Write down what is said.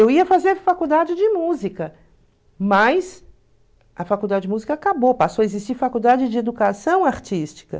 Eu ia fazer faculdade de música, mas a faculdade de música acabou, passou a existir faculdade de educação artística.